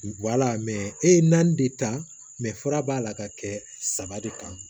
e ye naani de ta fura b'a la ka kɛ saba de kan